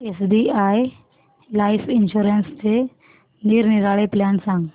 SBI life इन्शुरन्सचे निरनिराळे plan सांग